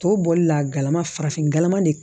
Tɔ bɔli la galama farafinkalama de